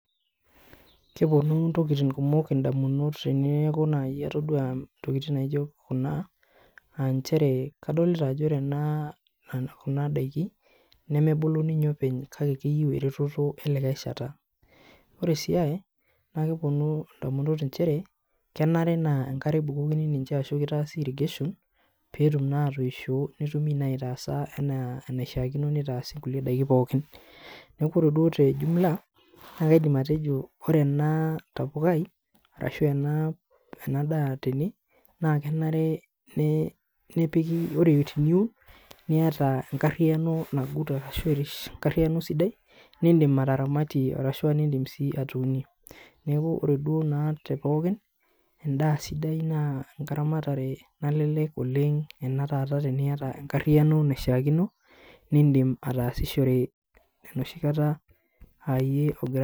kepuonu ntokitin kumok indamunot teeneku naai atodua ntokitin naijo kuna, aa nchere kadolita ajo ore kuna daiki nemebulu ninye openy kake keyieu eretoto elikae shata, ore sii ae kepuonu ndamunot inchere kenare naa enkare ebukokini ninche ashu kitaasi irrigation peetum naa atoisho netumi naa aitaasa enaishaakino nitaasi kulie daikin pookin, neeku ore duo te jumla naa kaidim atejo ore ena tapukai arashu ore ena daa tene naa kenare nee nepiki, ore teniun niyata enkariyiano nagut arashu airish,, enkariyiano sidai nindim ataramatie arashu nindim si atuunie, neeku ore duo naa te pookin endaa sidai naa enkaramatare nalelek oleng ena taata teniyata enkariano naishaakino nindim ataasishore enoshi kata aayie ogira....